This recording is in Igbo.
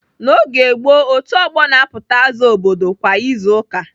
N'oge gboo, otu ọgbọ na-apụta aza obodo kwa izu ụka.